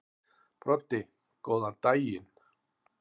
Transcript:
Broddi: Góðan daginn.